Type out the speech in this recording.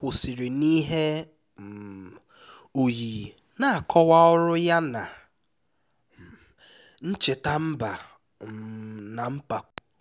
onye ndu anyị kwụsịrị n'ihe um oyiyi na-akọwa ọrụ ya na ncheta mba um na mpako